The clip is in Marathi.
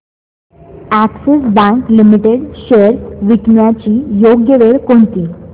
अॅक्सिस बँक लिमिटेड शेअर्स विकण्याची योग्य वेळ कोणती